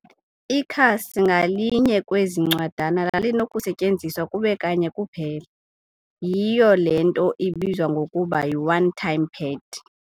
Ikhasi ngalinye kwezi ncwadana lalinokusetyenziswa kube kanye kuphela- Yhiyo le nto ibizwa ngokuba yi-"one-time pad".